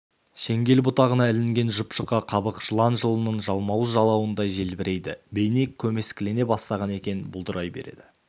шеңгел бұтағына ілінген жұп-жұқа қабық жылан жылының жалмауыз жалауындай желбірейді бейне көмескілене бастаған екен бұлдырай береді